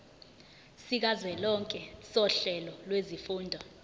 sikazwelonke sohlelo lwezifundo